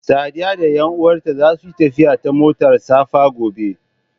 Sadiya da ƴanuwanta zasu yi tafiya ta motar safa gobe.